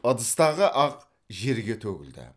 ыдыстағы ақ жерге төгілді